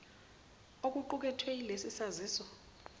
okuqukethwe yilesi saziso